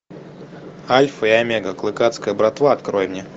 альфа и омега клыкацкая братва открой мне